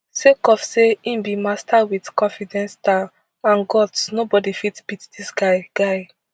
sake of say im be master wit confidence style and guts nobody fit beat dis guy guy